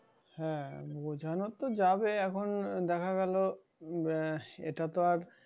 হ্যাঁ বুঝানো যাবে এখন দেখা গেল, আহ এটা তো আর,